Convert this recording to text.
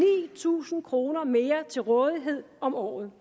tusind kroner mere til rådighed om året